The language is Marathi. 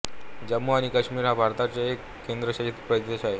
जम्मू आणि काश्मीर हा भारताचा एक केंद्रशासित प्रदेश आहे